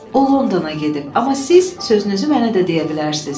O Londona gedib, amma siz sözünüzü mənə də deyə bilərsiniz.